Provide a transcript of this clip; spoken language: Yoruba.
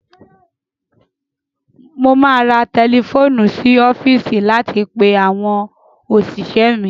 Mo máa ra tẹlifóònù sí ọfíìsì láti pe àwọn òṣìṣẹ́ mi.